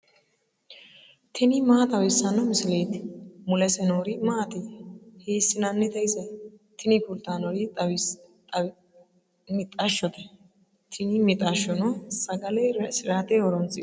tini maa xawissanno misileeti ? mulese noori maati ? hiissinannite ise ? tini kultannori mixashshote. tini mixashshono sagale raisirate horoonsi'nanni.